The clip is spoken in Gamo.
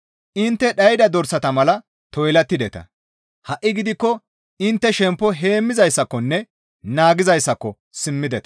Intte dhayda dorsata mala toylattideta; ha7i gidikko intte shemppo heemmizayssakonne naagizayssako simmideta.